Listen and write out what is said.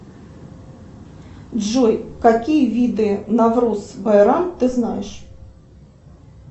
джой какие виды навруз байрам ты знаешь